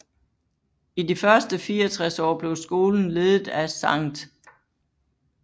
I de første 64 år blev skolen ledet af Sct